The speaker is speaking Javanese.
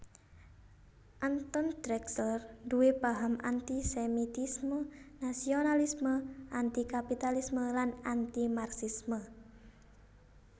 Anton Drexler nduwé paham anti sémitisme nasionalisme anti kapitalisme lan anti Marxisme